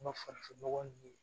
An ka farafinnɔgɔ ninnu